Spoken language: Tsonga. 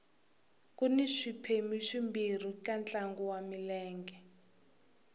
kuni swiphemu swimbirhi ka ntlangu wa milenge